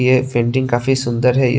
ये पेंटिंग काफी सुन्दर है।